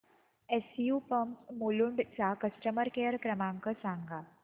SU pumps Mulund चा customer care क्रमांक सांगा